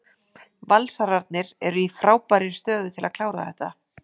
Valsararnir eru í frábærri stöðu til að klára þetta.